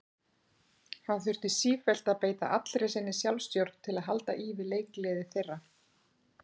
Hann þurfti sífellt að beita allri sinni sjálfstjórn til að halda í við leikgleði þeirra.